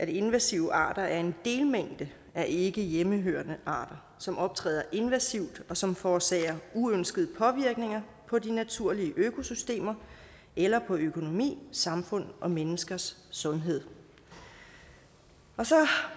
invasive arter er en delmængde af ikke hjemmehørende arter som optræder invasivt og som forårsager uønskede påvirkninger på de naturlige økosystemer eller på økonomi samfund og menneskers sundhed så